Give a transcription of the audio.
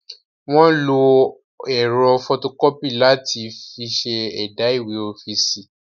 Wọ́n ń lo ẹ̀rọ fọtokọ́pì láti fi ṣe ẹ̀dà ìwé ọ́fíìsì.